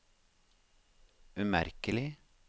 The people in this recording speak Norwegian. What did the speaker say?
umerkelig